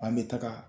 An bɛ taga